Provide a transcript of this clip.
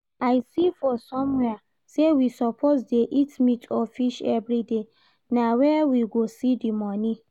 I see for somewhere sey we suppose dey eat meat or fish everyday, na where we go see the money?